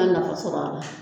A nafa sɔrɔ a la